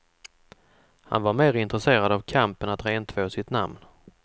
Han var mer intresserad av kampen att rentvå sitt namn.